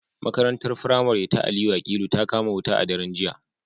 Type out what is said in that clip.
Makarantar firamare ta Aliyu Akilu ta kama wuta a daren jiya